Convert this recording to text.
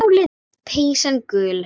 Peysan gul.